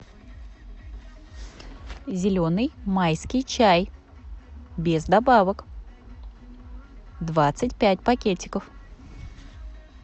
зеленый майский чай без добавок двадцать пять пакетиков